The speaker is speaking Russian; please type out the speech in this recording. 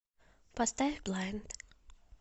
поставь блайнд